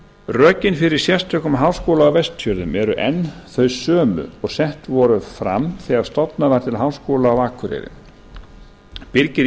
rökin fyrir sérstökum háskóla á vestfjörðum eru enn þau sömu og sett voru fram þegar stofnað var til háskóla á akureyri birgir